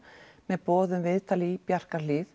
með boð um viðtal í